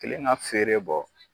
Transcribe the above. Kɛlen ka feere bɔ